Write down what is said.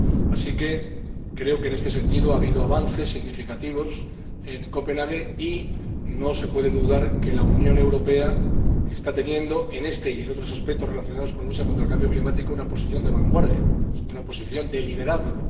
Así que creo que, en este sentido, ha habido avances significativos en Copenhague y no se puede dudar de que la Unión Europea está teniendo, en este y en otros aspectos relacionados con la lucha contra el cambio climático, una posición de vanguardia, una posición de liderazgo.